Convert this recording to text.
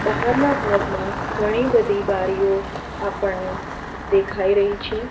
બહારના ભાગમાં ઘણી બધી બારીઓ આપણને દેખાઈ રહી છે.